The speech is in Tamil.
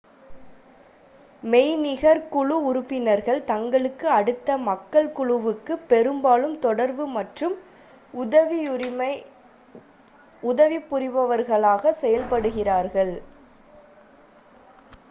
மெய்நிகர் குழு உறுப்பினர்கள் தங்களுக்கு அடுத்த மக்கள் குழுவுக்கு பெரும்பாலும் தொடர்பு மற்றும் உதவிபுரிபவர்களாக செயல்படுகிறார்கள்